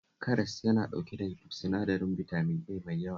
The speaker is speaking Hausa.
Karas yana ɗauke da sinadarin bitamin A mai yawa